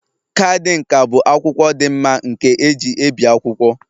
Kaadị nka bụ akwụkwọ dị mma nke eji ebi akwụkwọ